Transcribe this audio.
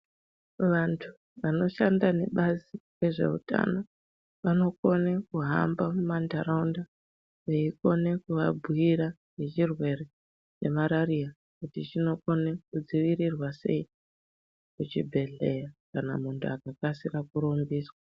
Vantu vanoshanda nebazi rezveutano vanokone kuhamba mumandaraunda veikone kuvabhuira ngechirwere chemarariya kuti chinokone kudzivirirwa sei kuchibhehleya kana muntu akakasira kurumbiswa.